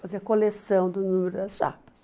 Fazia coleção do número das chapas.